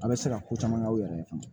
An bɛ se ka ko caman kɛ aw yɛrɛ ye